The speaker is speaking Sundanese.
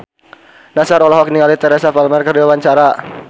Nassar olohok ningali Teresa Palmer keur diwawancara